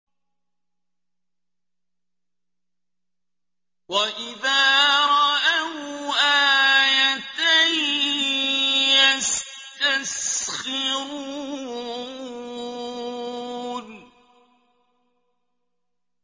وَإِذَا رَأَوْا آيَةً يَسْتَسْخِرُونَ